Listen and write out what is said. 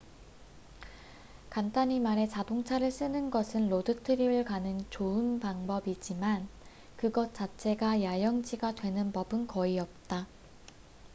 간단히 말해 자동차를 쓰는 것은 로드 트립을 가는 좋은 방법이지만 그것 자체가 야영지가 되는 법은 거의 없다